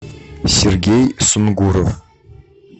сергей сунгуров